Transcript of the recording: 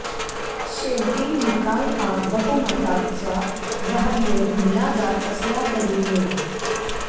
शेवटी निकाल हा बहुमताचा ग्राह्य धरला जात असला तरी न्या